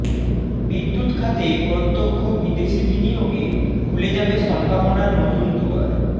বিদ্যুৎ খাতে প্রত্যক্ষ বিদেশী বিনিয়োগে খুলে যাবে সম্ভাবনার নতুন দুয়ার